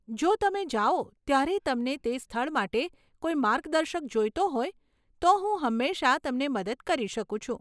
જો તમે જાઓ ત્યારે તમને તે સ્થળ માટે કોઈ માર્ગદર્શક જોઈતો હોય, તો હું હંમેશા તમને મદદ કરી શકું છું.